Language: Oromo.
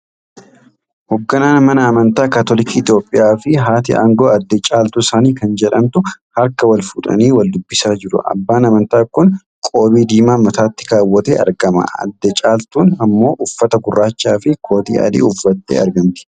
Hogganaan mana amantaa Katolikii Itoophiyaa fi haati aangoo adde Caaltuu Sanii kan jedhamtu harka wal fuudhanii wal dubbisaa jiru. Abbaan amantaa kun qoobii diimaa mataatti kaawwatee argama. Adde caaltuun ammoo uffata gurraacha fi kootii adii uffattee argamti.